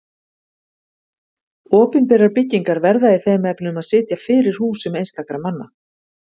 Opinberar byggingar verða í þeim efnum að sitja fyrir húsum einstakra manna.